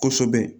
Kosɛbɛ